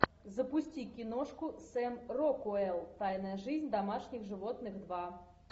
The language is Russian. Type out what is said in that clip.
запусти киношку сэм рокуэлл тайная жизнь домашних животных два